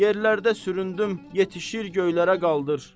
Yerlərdə süründüm, yetişir göylərə qaldır,